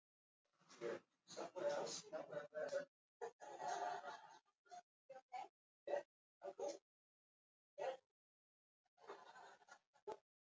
Með orðaforða einstaklings er átt við þau orð sem hann hefur á valdi sínu.